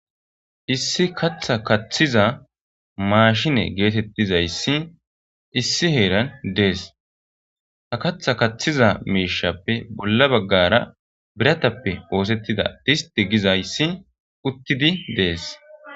issi katha kaththiza maashine geetettizayssi issi heeran dees ha katha kaththiza miishappe bolla baggara biratappe boosettida dhisti gizayssi uttidi dees